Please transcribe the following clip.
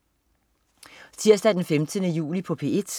Tirsdag den 15. juli - P1: